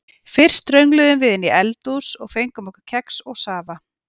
Fyrst röngluðum við inn í eldhús og fengum okkur kex og safa.